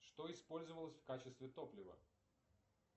что использовалось в качестве топлива